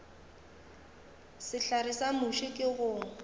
sehlare sa muši ke go